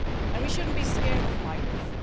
We should not be scared of migrants.